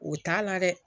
O t'a la dɛ